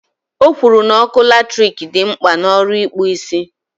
O kwuru na ọkụ latrik dị mkpa n' ọrụ ịkpụ isi